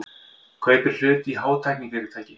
Kaupir hlut í hátæknifyrirtæki